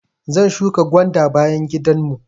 Zan shuƙa gwanda a bayan gidan mu.